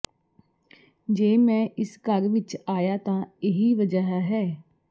ਜੇ ਮੈਂ ਇਸ ਘਰ ਵਿੱਚ ਆਇਆ ਤਾਂ ਇਹੀ ਵਜ੍ਹਾ ਹੈ